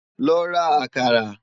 Lò rá àkàrá